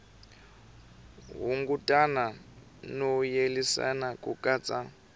hunguta no yelanisa ku katsa